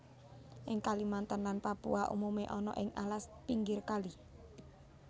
Ing Kalimantan lan Papua umume ana ing alas pinggir kali